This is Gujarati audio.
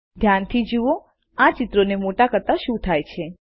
ધ્યાનથી જુઓઆ ચિત્રોને મોટા કરતા શું થાય છે